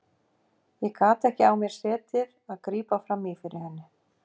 Ég gat ekki á mér setið að grípa fram í fyrir henni.